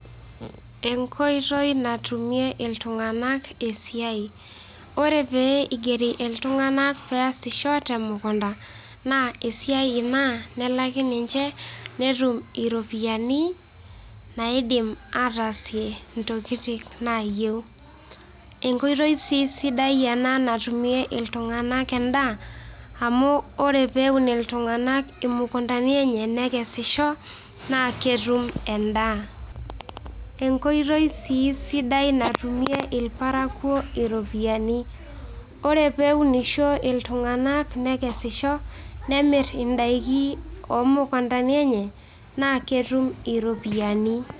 Enkoitoi natumie iltunganak esiai, ore pee igeri iltung'ana peesisho te mukunda naa esiai ina nelaki ninje netum iropiani naidim ataasie ntokitin naayeu. Enkoitoi sii sidai ena natumie iltung'anak endaa amu ore pee eun iltung'anak imukundani enye nekesisho naa ketum endaa. Enkotoi sii sidai natumie irparakuo iropiani, ore peeunisho iltung'anak nekesisho, nemir indaiki o mukundani enye naa ketum iropiani.